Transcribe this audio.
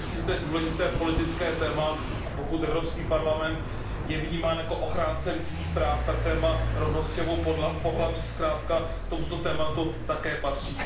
Myslím si, že to je důležité politické téma, a pokud Evropský parlament je vnímám jako ochránce lidských práv, tak téma rovnosti obou pohlaví zkrátka k tomuto tématu také patří.